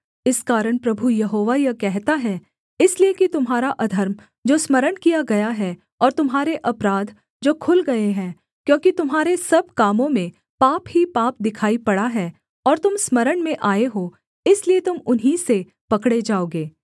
इस कारण प्रभु यहोवा यह कहता है इसलिए कि तुम्हारा अधर्म जो स्मरण किया गया है और तुम्हारे अपराध जो खुल गए हैं क्योंकि तुम्हारे सब कामों में पाप ही पाप दिखाई पड़ा है और तुम स्मरण में आए हो इसलिए तुम उन्हीं से पकड़े जाओगे